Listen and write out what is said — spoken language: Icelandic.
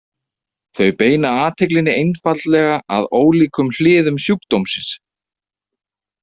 Þau beina athyglinni einfaldlega að ólíkum hliðum sjúkdómsins.